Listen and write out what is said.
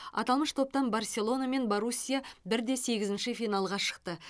аталмыш топтан барселона мен боруссия бір де сегізінші финалға шықты